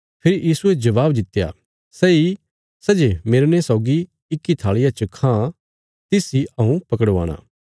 फेरी यीशुये जबाब दित्या सैई सै जे मेरने सौगी इक्की थालिया च खां तिस इ हऊँ पकड़वाणा